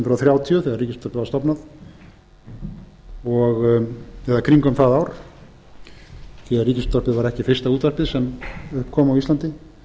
hundruð þrjátíu þegar ríkisútvarpið var stofnað eða í kringum það ár því að ríkisútvarpið var ekki fyrsta útvarpið sem upp kom á íslandi